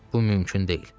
Bu mümkün deyil.